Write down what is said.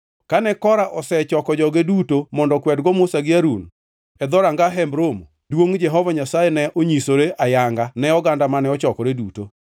Kane Kora osechoko joge duto mondo okwedgo Musa gi Harun e dhoranga Hemb Romo, duongʼ Jehova Nyasaye ne onyisore ayanga ne oganda mane ochokore duto.